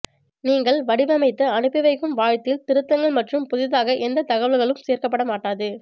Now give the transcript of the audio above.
நீங்கள் வடிவமைத்து அனுப்பிவைக்கும் வாழ்த்தில் திருத்தங்கள் மற்றும் புதிதாக எந்த தகவல்களும் சேர்க்கப்பட மாட்டாது